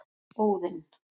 Óðinn